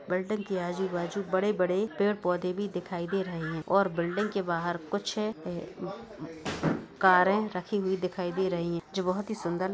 Building के आजू बाजू बड़े बड़े पेड़ पौध भी दिखाई दे रहे है और बिल्डिंग के बाहर कुछ कारे रक्खी हुयी दिखाई दे रही है जो बहुत ही सुन्दर।